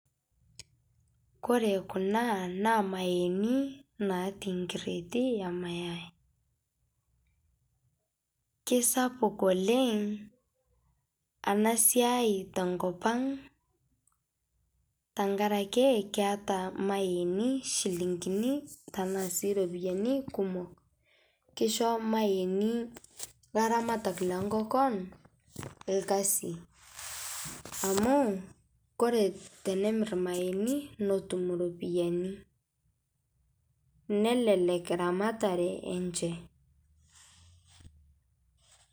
Kore kuna naa mayeeni natii nkireeti emayai, keisapuk oleng' anaa siai tenkopang' , tankarake keata mayeeni shilinginii tanaa sii ropiyani kumok, keisho mayeeni laramatak lenkokon lkaziii amu kore tenemir mayeeni notum ropiyani nelelek ramataree enshe.